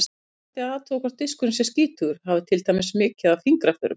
Fyrst ætti að athuga hvort diskurinn sé skítugur, hafi til dæmis mikið af fingraförum.